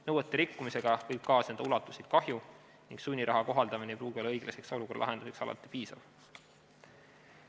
Nõuete rikkumisega võib kaasneda ulatuslik kahju ning sunniraha kohaldamine ei pruugi olla õiglaseks olukorra lahendamiseks alati piisav.